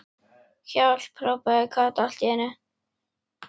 HJÁLP.! hrópaði Kata allt í einu.